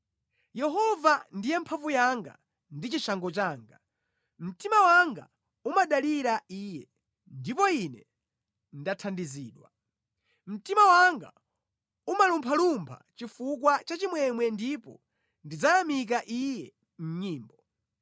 Yehova ndiye mphamvu yanga ndi chishango changa; mtima wanga umadalira Iye, ndipo Ine ndathandizidwa. Mtima wanga umalumphalumpha chifukwa cha chimwemwe ndipo ndidzayamika Iye mʼnyimbo.